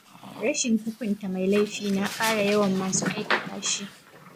Rashin hukunta mai laifi na ƙara yawan masu aikata shi,